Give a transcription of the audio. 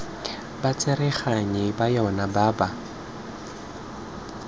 batsereganyi ba yona ba ba